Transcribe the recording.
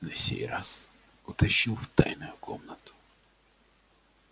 на сей раз утащил в тайную комнату